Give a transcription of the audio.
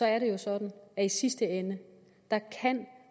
er det jo sådan at i sidste ende kan